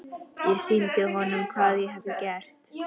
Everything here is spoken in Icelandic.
Ég sýndi honum hvað ég hafði gert.